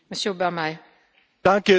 Danke für die Frage.